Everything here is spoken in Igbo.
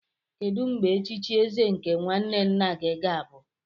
Kedu mgbe echichi eze nke nwanne nna gị ga-abụ?